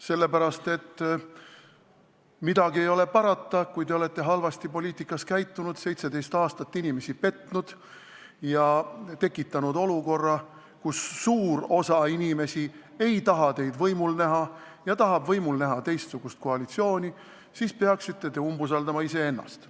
Sest midagi ei ole parata, kui te olete poliitikas halvasti käitunud, 17 aastat inimesi petnud ja tekitanud olukorra, kus suur osa inimesi ei taha teid võimul näha ja tahab võimul näha teistsugust koalitsiooni, siis te peaksite umbusaldama iseennast.